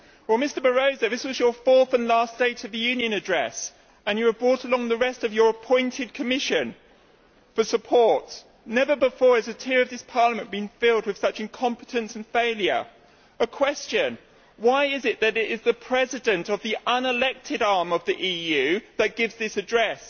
Well, Mr Barroso, this was your fourth and last State of the Union address and you have brought along the rest of your appointed Commission for support. Never before has a tier of this Parliament been filled with such incompetence and failure. A question, why is it that it is the President of the unelected arm of the EU that gives this address?